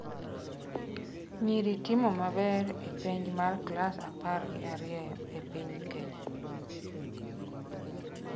Nyiri timo maber e penj mar class apar gi ariyo e piny Kenya